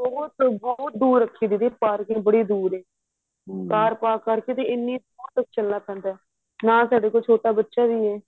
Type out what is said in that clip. ਬਹੁਤ ਬਹੁਤ ਦੂਰ ਰੱਖੀ ਦੀਦੀ parking ਬੜੀ ਦੂਰ ਏ ਕਾਰ park ਕਰਕੇ ਐਨੀ ਦੂਰ ਤੱਕ ਚੱਲਣਾ ਪੈਂਦਾ ਨਾਲ ਸਾਡੇ ਕੋਲ ਛੋਟਾ ਬੱਚਾ ਵੀ ਏ